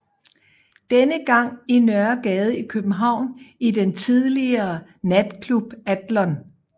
Denne gang i Nørregade i København i den tidligere natklub Adlon